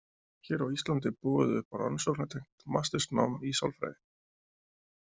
Hér á Íslandi er boðið upp á rannsóknartengt mastersnám í sálfræði.